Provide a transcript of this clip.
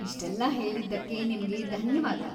ಇಷ್ಟೆಲ್ಲ ಹೇಳಿದ್ದಕ್ಕೆ ನಿಮ್ಗೆ ಧನ್ಯವಾದ.